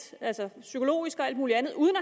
psykologisk og alt muligt andet uden